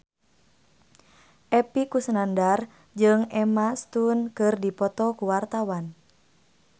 Epy Kusnandar jeung Emma Stone keur dipoto ku wartawan